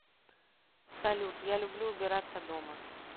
салют я люблю убираться дома